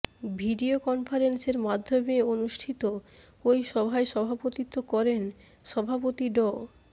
video কনফারেন্সের মাধ্যমে অনুষ্ঠিত ওই সভায় সভাপতিত্ব করেন সভাপতি ড